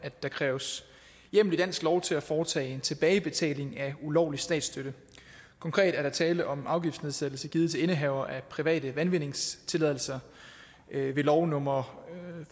af at der kræves hjemmel i dansk lov til at foretage tilbagebetaling af ulovlig statsstøtte konkret er der tale om en afgiftsnedsættelse givet til indehavere af private vandindvindingstilladelser ved lov nummer